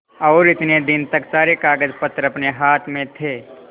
और इतने दिन तक सारे कागजपत्र अपने हाथ में थे